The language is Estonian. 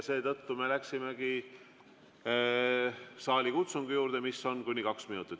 Seetõttu me läksime saalikutsungi juurde, mis kestab kuni kaks minutit.